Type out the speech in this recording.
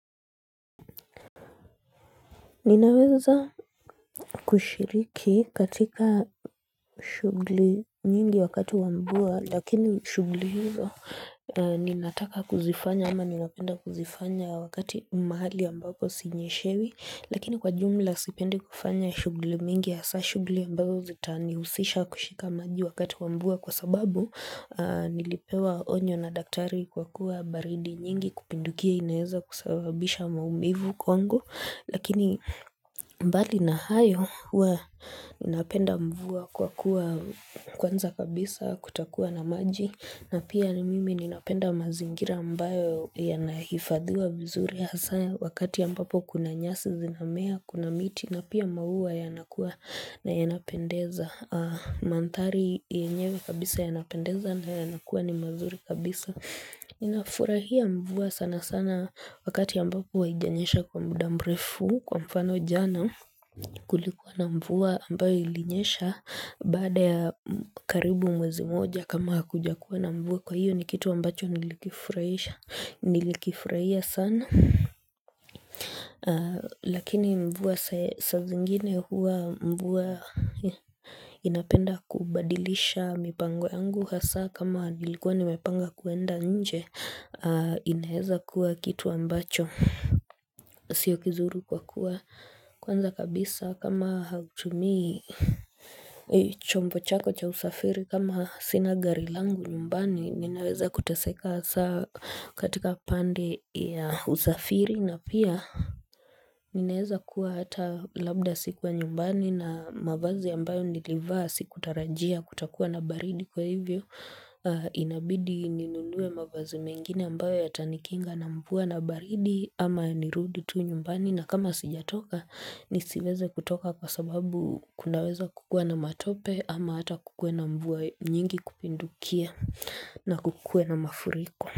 Ninaweza kushiriki katika shughuli nyingi wakati wa mvua lakini shughuli hizo ninataka kuzifanya ama ninapenda kuzifanya wakati mahali ambapo sinyeshewi lakini kwa jumla sipendi kufanya shughuli mingi hasa shughuli ambazo zitaanihusisha kushika maji wakati wa mvua kwa sababu nilipewa onyo na daktari kwa kuwa baridi nyingi kupindukia inaweza kusababisha maumivu kwangu lakini mbali na hayo hua napenda mvua kwa kuwa kwanza kabisa kutakuwa na maji na pia ni mimi ninapenda mazingira mbayo yanahifadhiwa vizuri hasa wakati ya ambapo kuna nyasi zinamea kuna miti na pia mauwa yanakuwa na yanapendeza manthari yenyewe kabisa yanapendeza na yanakuwa ni mazuri kabisa ninafurahia mvua sana sana wakati ambapo haijanyesha kwa muda mrefu. Kwa mfano jana kulikuwa na mvua ambayo ilinyesha baada ya karibu mwezi mmoja kama hakuja kuwa na mvua kwa hiyo ni kitu ambacho nilikifurahisha Nilikifurahia sana. Lakini mvua sa zingine huwa mvua inapenda kubadilisha mipango yangu hasa kama nilikuwa nimepanga kuenda nje inaweza kua kitu ambacho sio kizuru kwa kuwa kwanza kabisa kama hautumii chombo chako cha usafiri kama sina gari langu nyumbani ninaweza kuteseka hasa katika pande ya usafiri na pia Ninaweza kuwa hata labda sikuwa nyumbani na mavazi ambayo nilivaa sikutarajia kutakuwa na baridi kwa hivyo Inabidi ninunue mavazi mengine ambayo yatanikinga na mvua na baridi ama nirudi tu nyumbani, na kama sijatoka nisiweze kutoka kwa sababu kunaweza kukua na matope ama hata kukue na mvua nyingi kupindukia na kukue na mafuriko.